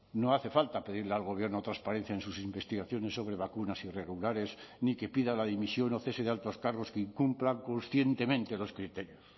no hace falta pedirle al gobierno transparencia en sus investigaciones sobre vacunas irregulares ni que pida la dimisión o cese de altos cargos que incumplan conscientemente los criterios